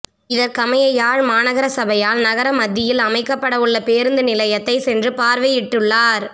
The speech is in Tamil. இதற்கமைய யாழ் மாநகர சபையால் நகர மத்தியில் அமைக்கப்படவுள்ள பேருந்து நிலையத்தை சென்று பார்வையிட்டுள்ளார்